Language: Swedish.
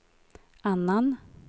annan